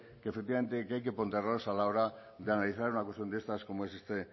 que efectivamente hay que ponderar a la hora de analizar una cuestión de estas como es